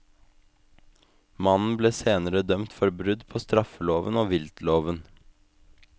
Mannen ble senere dømt for brudd på straffeloven og viltloven.